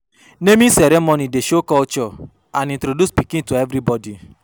Naming ceremony dey show culture and introduce pikin to everybody.